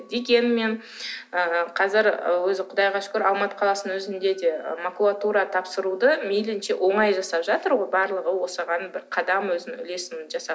дегенмен ы қазір ы өзі құдайға шүкір алматы қаласының өзінде де макулатура тапсыруды мейілінше оңай жасап жатыр ғой барлығы осыған бір қадам өзінің үлесін жасап